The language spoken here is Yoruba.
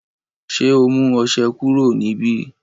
ṣe ọ mú ọṣẹ kúrò níbí